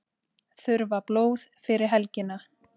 Þurfa blóð fyrir helgina